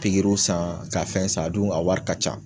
Pikiriw san ka fɛn san, a dun a wari ka ca.